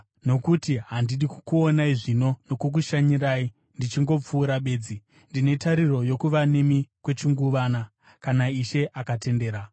Nokuti handidi kukuonai zvino nokukushanyirai ndichingopfuura bedzi; ndine tariro yokuva nemi kwechinguvana, kana Ishe akatendera.